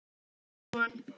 Þau eiga einn son.